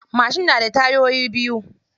Mashin na da tayoyi biyu.